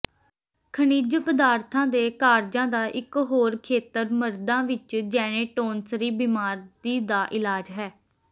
ਖਣਿਜ ਪਦਾਰਥਾਂ ਦੇ ਕਾਰਜਾਂ ਦਾ ਇਕ ਹੋਰ ਖੇਤਰ ਮਰਦਾਂ ਵਿਚ ਜੈਨੇਟੌਨਸਰੀ ਬਿਮਾਰੀ ਦਾ ਇਲਾਜ ਹੈ